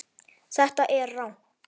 Þetta er rangt.